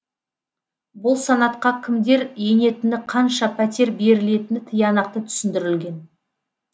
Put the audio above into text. бұл санатқа кімдер енетіні қанша пәтер берілетіні тиянақты түсіндірілген